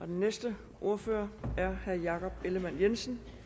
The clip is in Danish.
den næste ordfører er herre jakob ellemann jensen